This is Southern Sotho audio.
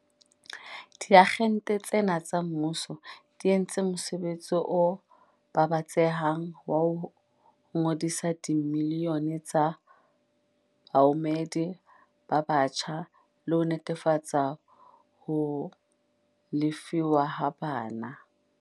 Diagente tsena tsa mmuso di entse mosebetsi o babatsehang wa ho ngodisa dimilione tsa baamohedi ba batjha le ho netefatsa ho lefuwa ha bona.